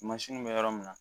bɛ yɔrɔ min na